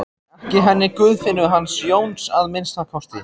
Ekki henni Guðfinnu hans Jóns að minnsta kosti.